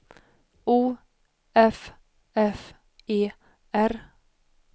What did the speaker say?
O F F E R